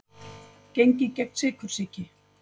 Gengið gegn sykursýki